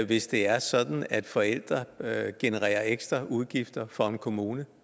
hvis det er sådan at forældre genererer ekstraudgifter for en kommune